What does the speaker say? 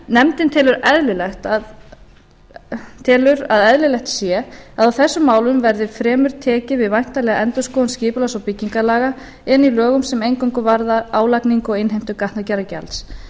nefndin telur að eðlilegt sé að á þessum málum verði fremur tekið við væntanlega endurskoðun skipulags og byggingarlaga inni í lögum sem eingöngu varða álagningu og innheimtu gatnagerðargjalds